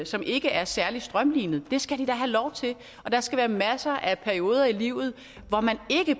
som ikke er særlig strømlinet det skal de da have lov til og der skal være masser af perioder i livet hvor man ikke